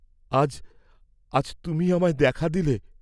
আজ, আজ তুমি আমায় দেখা দিলে?